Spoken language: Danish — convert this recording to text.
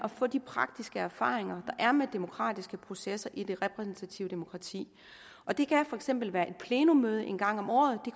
at få de praktiske erfaringer der er med demokratiske processer i det repræsentative demokrati det kan for eksempel være et plenummøde en gang om året det